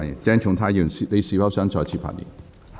鄭松泰議員，你是否想再次發言？